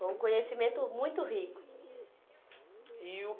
Foi um conhecimento muito rico. E o